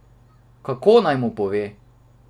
Kako naj mu pove?